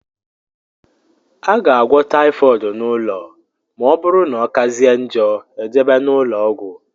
A ga - agwọ typhooid n' ụlọ ma na ọbụrụ na ọkazie njọ ejebe n' ulọọgwu.